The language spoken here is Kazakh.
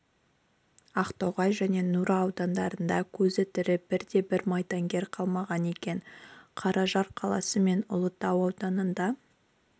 ақтоғай және нұра аудандарында көзі тірі бірде бір майдангер қалмаған екен қаражал қаласы мен ұлытау ауданында